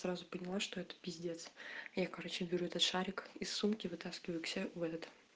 сразу поняла что это пиздец я короче беру этот шарик из сумки вытаскиваю к себе в этот